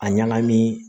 A ɲagami